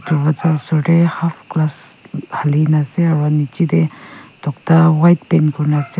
darvaza osor tae half glass halikae na ase aro nichae tae tokta white paint kurina ase aro--